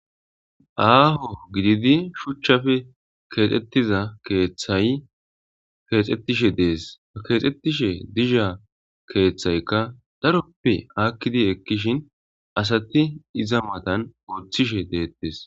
Aaho gididi shuchchafe keexxettiza eetthaykeexetishe dees keexxettishe dizha keeththaykka daroppe akkidi ekkishin asati iza matan gooththishe deettes.